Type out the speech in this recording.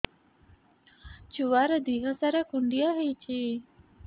ଛୁଆର୍ ଦିହ ସାରା କୁଣ୍ଡିଆ ହେଇଚି